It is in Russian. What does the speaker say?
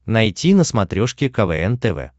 найти на смотрешке квн тв